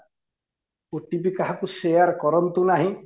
OTP କାହାକୁ share କରନ୍ତୁ ନାହିଁ